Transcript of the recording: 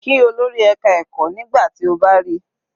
Kí olórí ẹka ẹ̀kọ́ nígbà tí o bá ríi.